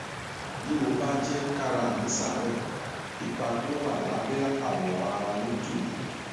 bí mo bá jẹ kára mí ṣàárẹ ipa tó wà lábẹ awọ ara yóò tù mí